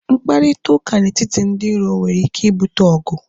Mkparịta ụka na etiti ndị iro nwere ike ibute ọgụ